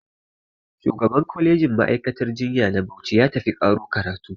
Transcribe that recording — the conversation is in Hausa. Shugaban kwalejin ma'aikatar jinya na Bauchi ya tafi ƙaro karatu